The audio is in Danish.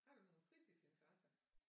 Har du nogle fritidsinteresser